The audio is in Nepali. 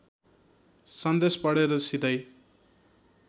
सन्देश पढेर सिधै